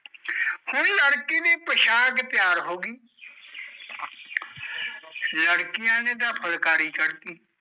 ਹੁਣ ਲੜਕੀ ਦੀ ਪੁਸ਼ਾਕ ਤਿਆਰ ਹੋਗੀ ਲੜਕੀਆਂ ਨੇ ਤਾਂ ਫੁਲਕਾਰੀ ਕੱਢਤੀ।